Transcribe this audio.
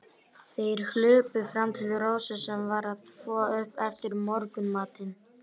Þeir hlupu fram til Rósu, sem var að þvo upp eftir morgunmatinn.